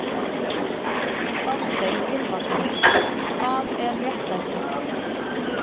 Þorstein Gylfason, Hvað er réttlæti?